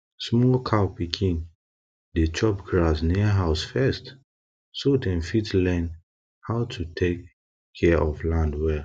small cow pikin dem dey chop grass near house first so dem fit learn learn how to tek care of land well